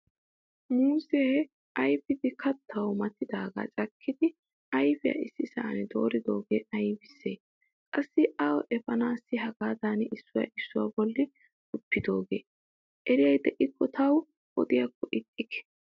Muuzze ayfidi kattawu maatidaga cakkidi ayfiyaa issisan dooridoge aybise? qassi awu efanase hagaadan isuwaa issuwaa bolli guppidoge? Eriyyay deiko tayo odikko ixxikke?